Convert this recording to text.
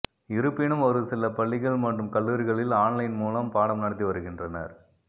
இருப்பினும் ஒரு சில பள்ளிகள் மற்றும் கல்லூரிகளில் ஆன்லைன் மூலம் பாடம் நடத்தி வருகின்றனர்